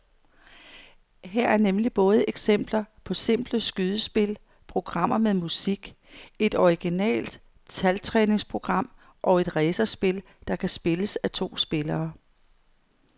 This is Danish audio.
Her er nemlig både eksempler på simple skydespil, programmer med musik, et originalt taltræningsprogram og et racerspil, der kan spilles af to spillere.